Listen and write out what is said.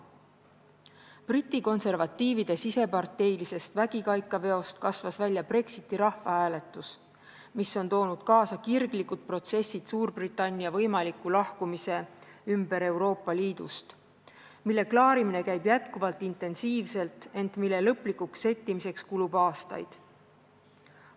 Briti konservatiivide siseparteilisest vägikaikaveost kasvas välja Brexiti rahvahääletus, mis on toonud kaasa kirglikud protsessid Suurbritannia võimaliku Euroopa Liidust lahkumise ümber, mille klaarimine käib jätkuvalt intensiivselt, ent mille lõplikuks settimiseks kulub aastaid.